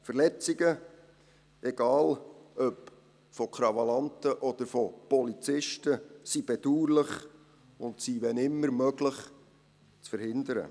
Verletzungen, egal ob von Krawallanten oder von Polizisten, sind bedauerlich und sind, wenn immer möglich, zu verhindern.